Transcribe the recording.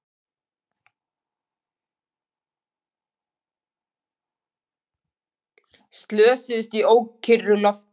Slösuðust í ókyrru lofti